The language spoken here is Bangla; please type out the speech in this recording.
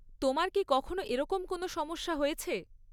তোমার কি কখনও এরকম কোনও সমস্যা হয়েছে?